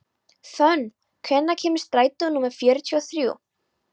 Fönn, hvenær kemur strætó númer fjörutíu og þrjú?